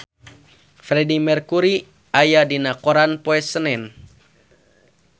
Freedie Mercury aya dina koran poe Senen